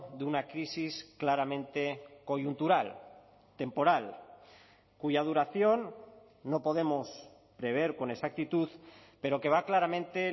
de una crisis claramente coyuntural temporal cuya duración no podemos prever con exactitud pero que va claramente